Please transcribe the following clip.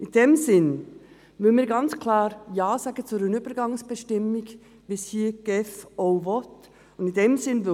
In diesem Sinne müssen wir klar Ja sagen zu einer Übergangsbestimmung, wie dies die GEF hier auch unterstützt.